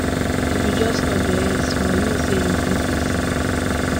if you just nod your head small e mean sey you greet pesin